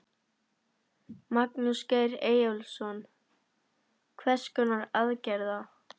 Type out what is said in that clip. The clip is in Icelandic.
Magnús Geir Eyjólfsson: Hvers konar aðgerða?